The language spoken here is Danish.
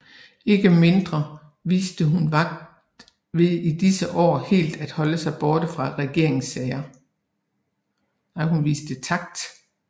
Ikke mindre viste hun takt ved i disse år helt at holde sig borte fra regeringssagerne